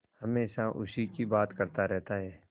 हमेशा उसी की बात करता रहता है